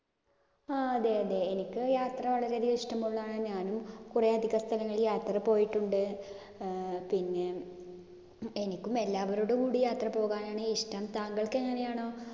ആഹ് അതെഅതെ. എനിക്ക് യാത്ര വളരെയധികം ഇഷ്ടമുള്ള ഞാനും. കുറെ യാത്ര പോയിട്ടുണ്ട്. ഏർ പിന്നെ എനിക്കും എല്ലാവരോടും കൂടി യാത്രപോകാനാണ് ഇഷ്ടം. താങ്കൾക്ക് എങ്ങിനെയാണ്?